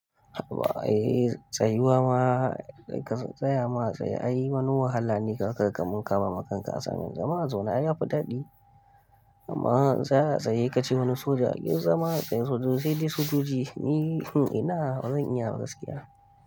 A'a eh tsayuwa ma ka tsaya ma a tsaye. Ai wani wahala ne za ka ga kaman ka bama kanka assignmen. Zama a zaune ai yafi daɗi amma tsaya a tsaye sai ka ce wani soja yi zama a tsaye sojojin sai dai sojoji. Ni ina bazan iya ba gaskiya.